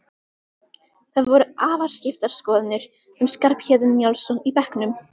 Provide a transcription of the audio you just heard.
Það voru afar skiptar skoðanir um Skarphéðin Njálsson í bekknum.